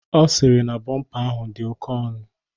Ọ sịrị na bọmpa ahụ dị oke ọnụ.